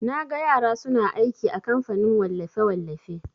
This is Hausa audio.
Naga yara suna aiki a kamfanin wallafe-wallafe.